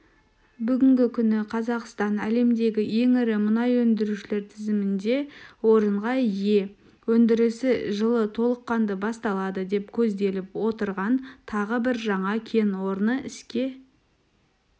бүгінгі күні қазақстан әлемдегі ең ірі мұнай өндірушілер тізімінде орынға ие өндірісі жылы толыққанды басталады деп көзделіп отырған тағы бір жаңа кен орны іске